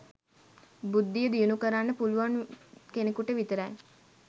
බුද්ධිය දියුණු කරන්න පුළුවන් කෙනෙකුට විතරයි.